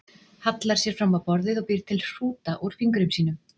Hallar sér fram á borðið og býr til hrúta úr fingrum sínum.